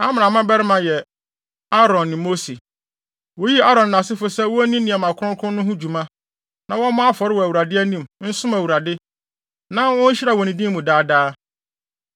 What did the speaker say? Amram mmabarima yɛ: Aaron ne Mose. Woyii Aaron ne nʼasefo sɛ wonni nneɛma kronkron no ho dwuma, na wɔmmɔ afɔre wɔ Awurade anim, nsom Awurade, na wonhyira wɔ ne din mu daa daa.